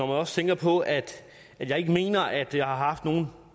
også tænker på at jeg ikke mener at det har haft nogen